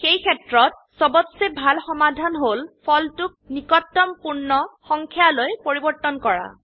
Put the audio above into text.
সেইক্ষেত্ৰত সবতচে ভাল সমাধান হল ফলটোক নিকটতম পূৰ্ণ সংখ্যায়লৈ পৰিবৰ্তন কৰা